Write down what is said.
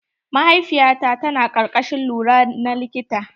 Mahaifiya ta ta na karkashin lura na likita.